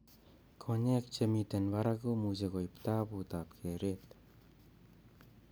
Konyek che miten parak komuche koip taput ap keret.